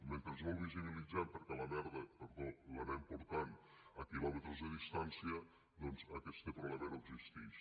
mentre no el visibilitzem perquè la merda perdó l’anem portant a quilòmetres de distància doncs aquest problema no existix